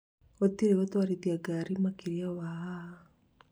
gũtire gũtwarithia ngari makĩria wa haha."